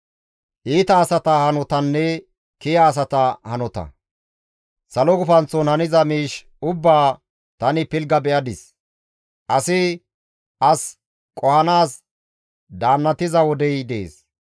Salo gufanththon haniza miish ubbaa tani pilgga be7adis; asi as qohanaas daannatiza wodey dees.